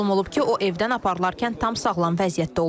Məlum olub ki, o evdən aparılarkən tam sağlam vəziyyətdə olub.